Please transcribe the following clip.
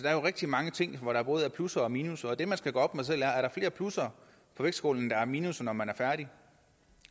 er jo rigtig mange ting hvor der både er plusser og minusser og det man skal gøre op med sig der er flere plusser i vægtskålen end der er minusser når man er færdig